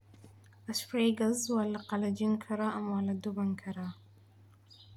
Asparagus waa la qalajin karaa ama waa la duban karaa.